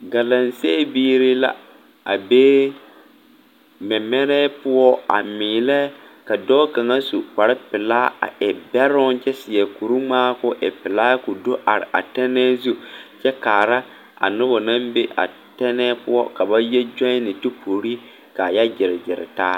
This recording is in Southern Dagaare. Galamsee biiri la a be mɛmɛrɛɛ poɔ a meelɛ ka dɔɔ kaŋa su kparepelaa a e bɛroŋ kyɛ seɛ kuriŋmaa ka o e pelaa a do are a tɛnɛɛ zu kyɛ kaara a noba naŋ be a tɛnɛɛ poɔ ka ba kyɔɛne kyɔpori puori ka a yɛ gyere gyere taa.